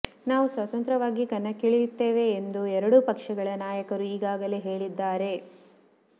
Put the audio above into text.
ನಾವು ಸ್ವತಂತ್ರವಾಗಿ ಕಣಕ್ಕಿಳಿಯುತ್ತೇವೆ ಎಂದು ಎರಡೂ ಪಕ್ಷಗಳ ನಾಯಕರು ಈಗಾಗಲೇ ಹೇಳಿದ್ದಾರೆ